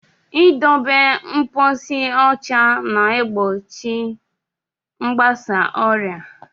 I dobe mposi ụcha na-egbochi mgbasa ọrịa.